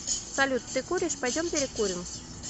салют ты куришь пойдем перекурим